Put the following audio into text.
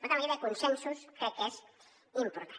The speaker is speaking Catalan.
per tant la idea de consensos crec que és important